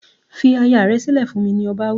"Fi aya rẹ sílẹ̀ fún mi", ni ọba wí.